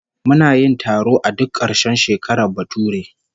Muna yin taro a duk karshen shekarar bature